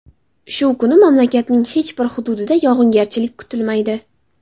Shu kuni mamlakatning hech bir hududida yog‘ingarchilik kutilmaydi.